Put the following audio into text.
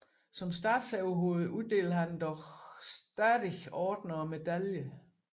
Som statsoverhoved uddeler han dog fortsat ordener og medaljer